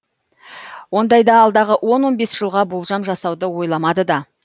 ондайда алдағы он он бес жылға болжам жасауды ойламады да